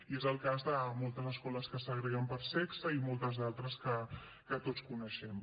i és el cas de moltes escoles que segreguen per sexe i moltes d’altres que tots coneixem